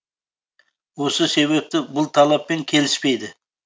осы себепті бұл талаппен келіспейді